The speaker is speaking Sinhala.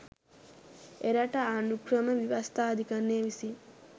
එරට ආණ්ඩුක්‍රම ව්‍යවස්ථා අධිකරණය විසින්